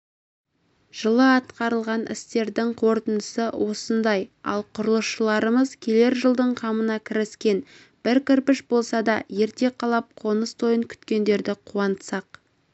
жылы атқарылған істердің қорытындысы осындай ал құрылысшыларымыз келер жылдың қамына кіріскен бір кірпіш болса да ерте қалап қоныс тойын күткендерді қуантсақ